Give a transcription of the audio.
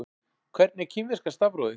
Hvernig er kínverska stafrófið?